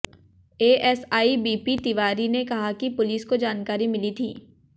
ASI BP Tiwari ने कहा कि पुलिस को जानकारी मिली थी